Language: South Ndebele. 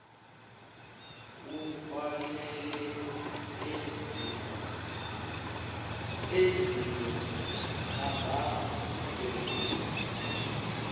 kufanele enziwe abhadele